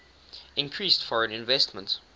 increased foreign investment